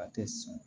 A tɛ sɔn